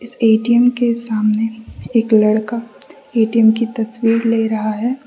ATM के सामने एक लड़का ए_टी_एम की तस्वीर ले रहा है।